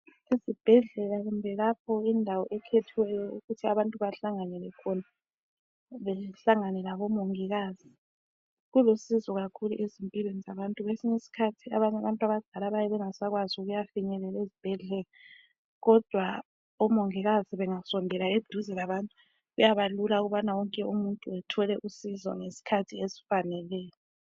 Ezibhedlela kumbe lapha indawo ekhethwe ukuthi abantu bahlanganele khona behlangane labomongikazi kulusizo kakhulu kwesinye isikhathi abanye abantu abadala bayabe bengasakwanisi ukuya finyelela ezibhedlela kodwa omongikazi bengasondela eduze labantu kuyabalula ukubana wonke umuntu ethole usizo ngesikhathi esifaneleyo